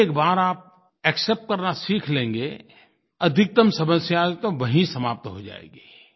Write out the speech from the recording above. एक बार आप एक्सेप्ट करना सीख लेंगे अधिकतम समस्या तो वही समाप्त हो जाएगी